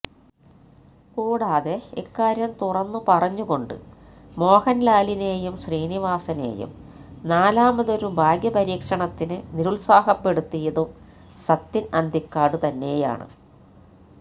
കൂടാതെ ഇക്കാര്യം തുറന്നു പറഞ്ഞുകൊണ്ട് മോഹന്ലാലിനെയും ശ്രീനിവാസനെയും നാലാമൊതൊരു ഭാഗ്യപരീക്ഷണത്തിന് നിരുത്സാഹപ്പെടുത്തിയതും സത്യന് അന്തിക്കാട് തന്നെയാണ്